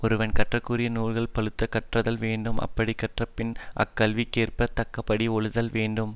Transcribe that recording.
ஒருவன் கற்றற்குரிய நூல்களை பழுதறக் கற்றல் வேண்டும் அப்படிக் கற்றபிறகு அக்கல்விக்கேற்பத் தக்கபடி ஒழுதல் வேண்டும்